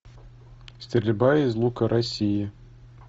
стрельба из лука россии